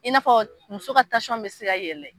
I n'a fɔ muso ka tasɔn be se ka wɛlɛ